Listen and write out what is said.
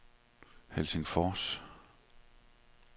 Helsingfors